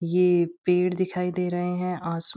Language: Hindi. ये पेड़ दिखाई दे रहे हैं आस --